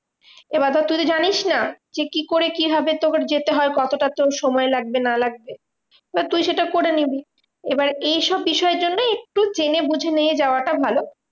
এবার ধর তুই তো জানিস না যে, কি করে কিভাবে তোকে যেতে হয় কতটা তোর সময় লাগবে না লাগবে? এবার তুই সেটা করে নিবি। এবার এইসব বিষয়ের জন্যেই একটু জেনে বঝে নিয়ে যাওয়াটা ভালো।